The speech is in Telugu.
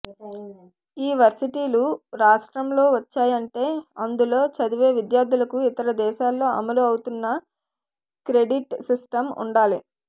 ఈ వర్శిటీలు రాష్ట్రంలో వచ్చాయంటే అందులో చదివే విద్యార్థులకు ఇతర దేశాల్లో అమలు అవుతున్న క్రెడిట్ సిస్టమ్ ఉండాలి